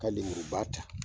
Ka lemuruba ta